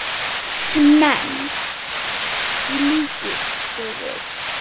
menn, í líkingu við.